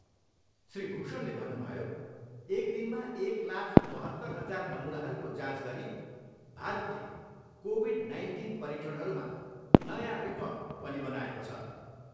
श्री भूषणले भन्नुभयो, एक दिनमा एक लाख बहत्तर हजार नमुनाहरूको जाँच गरी भारतले कोभिड नाइन्टिन परीक्षणहरूमा नयाँ रिर्कड पनि बनाएको छ।